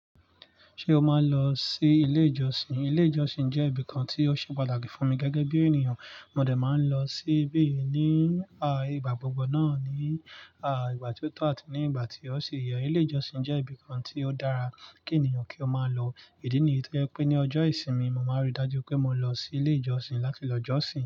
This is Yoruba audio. Ṣé o máa ń lọ sí ilé ìjọsìn? Ilé ìjọsìn jẹ́ ibìkan tí ó ṣe pàtàkì fún mi gẹ́gẹ́ bí ènìyàn. Mo dè máa ń lọ síbí ní, à, ìgbà gbogbo náà ní, à, ìgbà tí ó tà àti ní ìgbà tí ó ṣì yẹ̀. Ilé ìjọsìn jẹ́ ibìkan tí ó dára kí ènìyàn kí ó máa lọ. Ìdí nìyí tó jẹ́ pé ní ọjọ́ ìsinmi, mo máa rí dájú pé mo lọ sí ilé ìjọsìn láti lọ jọ́sìn.